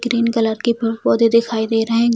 Green colour के पेड़-पौधे दिखाई दे रहे हैं।